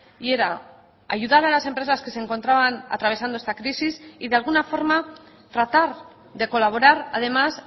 y era ayudar a las empresas que se encontraban atravesando esta crisis y de alguna forma tratar de colaborar además